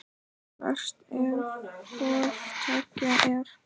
Verst ef hvoru tveggja er.